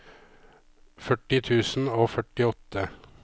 førti tusen og førtiåtte